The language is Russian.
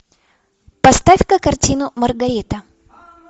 поставь ка картину маргарита